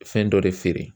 Fɛn dɔ de feere